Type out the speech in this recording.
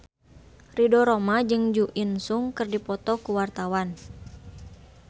Ridho Roma jeung Jo In Sung keur dipoto ku wartawan